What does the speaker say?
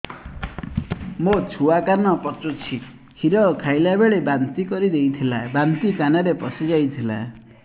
ମୋ ଛୁଆ କାନ ପଚୁଛି କ୍ଷୀର ଖାଇଲାବେଳେ ବାନ୍ତି କରି ଦେଇଥିଲା ବାନ୍ତି କାନରେ ପଶିଯାଇ ଥିଲା